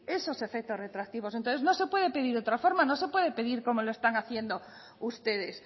esos efectos retroactivos entonces no se puede pedir de otra forma no se puede pedir como lo están haciendo ustedes